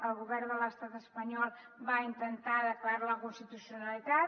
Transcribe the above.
el govern de l’estat espanyol va intentar declarar ne la inconstitucionalitat